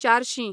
चारशीं